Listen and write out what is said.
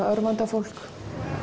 örvandi á fólk